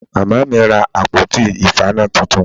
Màmá mi ra àpótí ìfaná titun